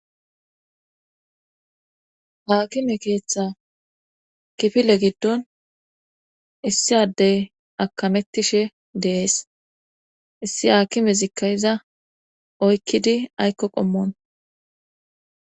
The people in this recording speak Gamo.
Haakime keeththa kifile giddon issi addey akamettishe deees issi haakime zikkayiza oykkidi aykko qommon.